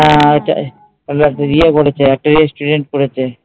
হ্যাঁ একটা ইয়ে করেছে একটা restaurant করেছে